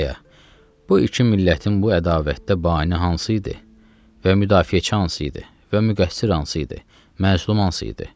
Aya, bu iki millətin bu ədavətdə bani hansı idi və müdafiəçi hansı idi və müqəssir hansı idi, məzlum hansı idi?